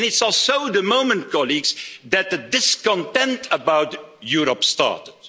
And it's also the moment, colleagues, that the discontent about Europe started.